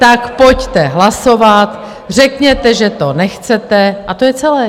Tak pojďte hlasovat, řekněte, že to nechcete, a to je celé.